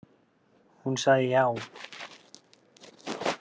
Hún sagði já.